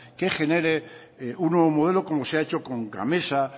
que genere un nuevo modelo como se ha hecho con la gamesa